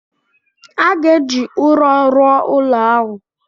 A ga-eji ụrọ rụọ ụlọ ahụ